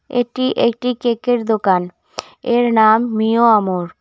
এটি একটি কেক -এর দোকান এর নাম মিওআমর।